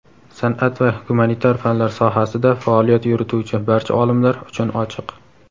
san’at va gumanitar fanlar sohasida faoliyat yurituvchi barcha olimlar uchun ochiq.